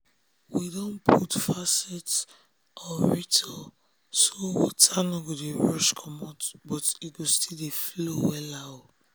we don put faucet aerator so water no go dey rush comot but e go still dey flow wella.